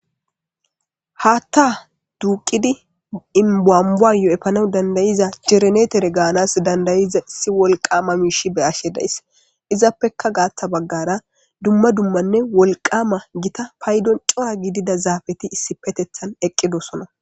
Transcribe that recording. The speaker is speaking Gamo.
haaththa duuqidi baambaayoo7epana dandayiza cirenetere gaanas dandayiza isi wolqama miishi be ashe days izappeka gaatha baggara dumma dummanne wolqama gita paydon cora gidida zaafeti issi petethan eqqidosona